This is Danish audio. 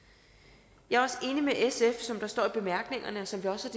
jeg er også enig med sf i som der står i bemærkningerne og som vi også